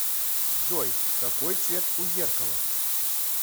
джой какой цвет у зеркала